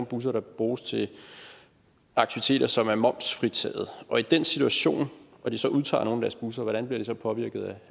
busser der bruges til aktiviteter som er momsfritaget og i den situation hvor de så udtager nogle af deres busser hvordan bliver de så påvirket